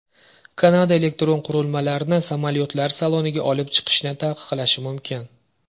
Kanada elektron qurilmalarni samolyotlar saloniga olib chiqishni taqiqlashi mumkin.